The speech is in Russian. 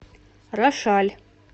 рошаль